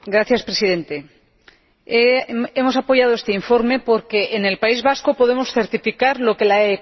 Hemos apoyado este informe porque en el País Vasco podemos certificar lo que la economía social aporta contra la crisis.